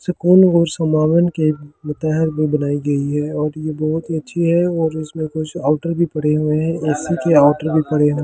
सुकून और समावन के मुतेहन भी बनाई गई है और ये बहुत ही अच्छी है और इसमे कुछ आउटर भी पड़े हुए है जिससे कि आउटर भी पड़े हुए है ।